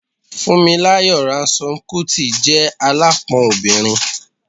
Funmilayo Ransome-Kuti je alapon obinrin